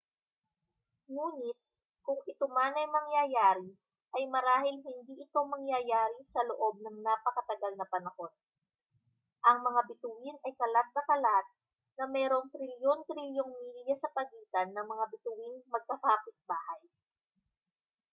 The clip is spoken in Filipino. ngunit kung ito man ay mangyayari ay marahil hindi ito mangyayari sa loob ng napakatagal na panahon ang mga bituin ay kalat na kalat na mayroong trilyon-trilyong milya sa pagitan ng mga bituing magkakapitbahay